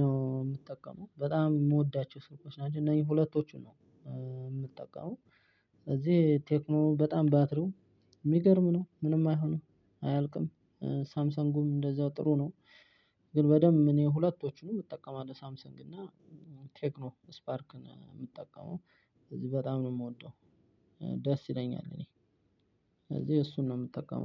ነው የምጠቀመው። በጣም የምወዳቸው ስልኮች ናቸው። እነዚህ ሁለቶቹ ነው የምጠቀመው። ስለዚህ ቴክኖ በጣም ባትሪው የሚገርም ነው፣ ምንም አይሆንም፣ አያልቅም ሳምሰንጉም እንደዛው ጥሩ ነው። ግን በደንብ እኔ ሁለቶቹንም እጠቀማለሁ ሳምሰንግ እና ቴክኖ ስፓርክን የምትጠቀመው። ስለዚህ በጣም ነው የምወደው። ደስ ይለኛል እኔ። ስለዚህ እሱን ነው የምጠቀመው።